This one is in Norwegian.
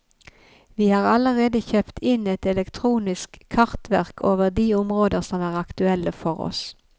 Vi har allerede kjøpt inn et elektronisk kartverk over de områder som er aktuelle for oss.